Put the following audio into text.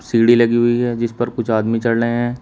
सीढ़ी लगी हुई है जिस पर कुछ आदमी चढ रहे हैं।